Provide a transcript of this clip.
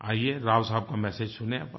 आइये राव साहब का मेसेज सुनें